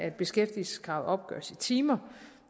at beskæftigelseskravet opgøres i timer